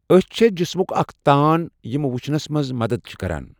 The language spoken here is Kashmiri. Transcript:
أچھ چھےٚ جسمک اَکھ تان یِمہٕ وُچھنَس مَنٛز مَدَتھ چھِ کَران